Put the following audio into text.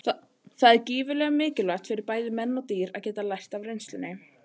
Með því að horfa á pendúlinn sjáum við í rauninni jörðina snúast fyrir augum okkar.